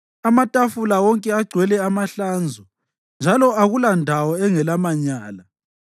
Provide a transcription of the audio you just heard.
Amatafula wonke agcwele amahlanzo njalo akulandawo engelamanyala.